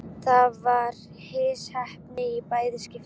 Það var misheppnað í bæði skiptin.